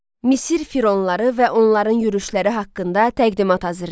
Misir fironları və onların yürüşləri haqqında təqdimat hazırlayın.